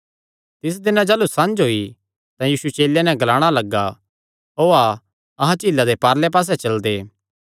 तिस दिनैं जाह़लू संझ होई तां यीशु चेलेयां नैं ग्लाणा लग्गा ओआ अहां झीला दे पारले पास्से चलदे